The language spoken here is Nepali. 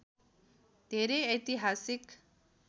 धेरै ऐतिहासिक